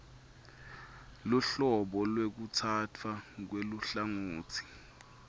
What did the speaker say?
luhlobo lwekutsatfwa kweluhlangotsi